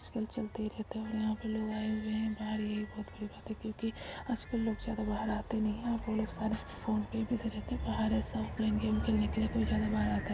कल चलते ही रहते है और यहाँ पर लोग आये हुए है बाहर ये ही बड़ी बात है क्योंकि आजकल लोग ज्यादा बाहर आते नही है वोह लोग सारे फ़ोन पे ही बिजी रहते है बाहर ऐसा प्लेन गेम खेलने के लिए कोई ज्यादा बाहर आता।